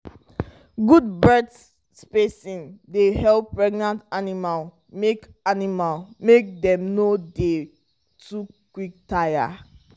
good birth spacing dey help prevent animal make animal make dem no dey too quick tire